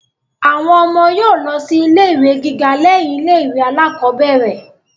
Àwọn ọmọ yóò lọ sí ilé ìwé gíga lẹ́yìn ilé ìwé alákọ́bẹ̀rẹ̀